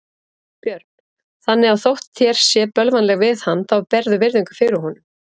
Björn: Þannig að þótt þér sé bölvanlega við hann þá berðu virðingu fyrir honum?